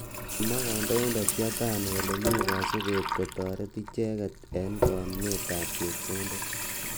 Kimwa kandoindet Yatani kole mi kasubet kotoret icheket eng konunet ab chepkondok.